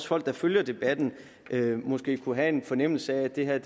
folk der følger debatten måske kunne have en fornemmelse af at det her